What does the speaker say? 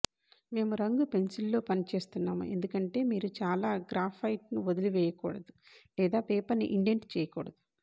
మేము రంగు పెన్సిల్స్లో పని చేస్తున్నాము ఎందుకంటే మీరు చాలా గ్రాఫైట్ను వదిలివేయకూడదు లేదా పేపర్ను ఇండెంట్ చేయకూడదు